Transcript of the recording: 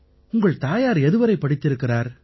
உங்கள் தாயார் எதுவரை படித்திருக்கிறார்